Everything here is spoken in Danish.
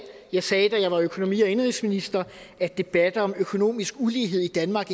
jeg sagde da jeg var økonomi og indenrigsminister at debatter om økonomisk ulighed i danmark